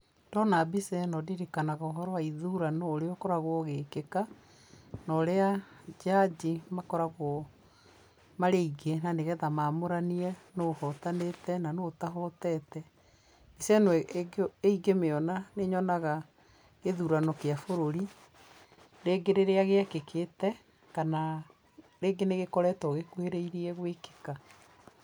Ndona mbica ĩno ndirikanaga ũhoro wa ithurano ũrĩa ũkoragwo ũgĩkĩka, na ũrĩa njanji makoragwo marĩ aingĩ nĩguo mamũranie nũ ũhotanĩte na nũ ũtahotete. Mbica ĩno ingĩmĩona nĩ nyonaga gĩthurano gĩa bũrũri. Rĩngĩ rĩrĩa gĩekĩkĩte kana rĩngĩ nĩ gĩkoretwo gĩkuhĩrĩirie gũĩkĩka.